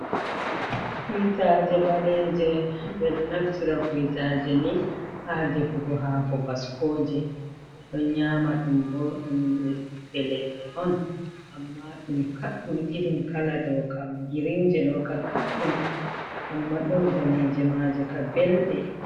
Kuitaje Ɓaleje, ɓeɗo Naftira Kuitaje ni ha Defugo hako Baskoje, ɓe ɗon Nyama ɗum bo, ɗum Ɓiɓbe Leɗɗe'on Amma ɗum Kaɗɗum irin Kala ɗoukam, Girinje ɗoka Kaddum, Amma ɗom Daneje majeka Belɗe.